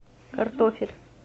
картофель